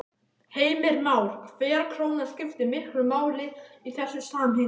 Heimir Már: Hver króna skiptir miklu máli í þessu samhengi?